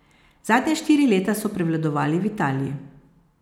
Zadnja štiri leta so prevladovali v Italiji.